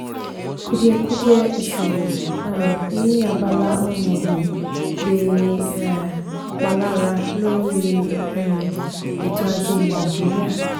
kùdìẹ̀kudiẹ ìsòwò um ní abala ohun ọ̀gbìn lè um palara lórí um ètò ajé nàìjíríà.